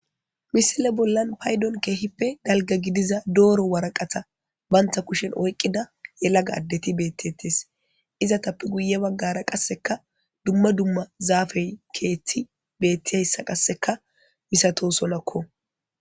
misile bollan paydon keehippe dalga gidiza dooro waraqata bantha kushen oyqqida yelaga addeti beettettes iza tappe guye baggara qasseka dumma dumma zaafey keethti bettiyayssa qasseka misato sonakko